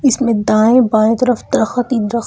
इसमें दाएं बाएं तरफ दरखत ही दर--